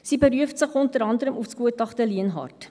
Sie beruft sich unter anderem auf das Gutachten Lienhard.